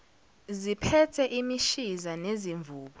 ziphethe imishiza nezimvubu